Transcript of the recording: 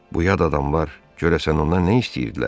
Bu yad adamlar görəsən ondan nə istəyirdilər?